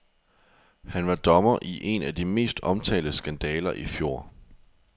Han var dommer i en af de mest omtalte skandaler i fjor.